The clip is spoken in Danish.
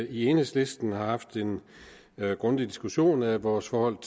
i enhedslisten har haft en grundig diskussion af vores forhold